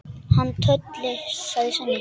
Hann Tolli, sagði Svenni.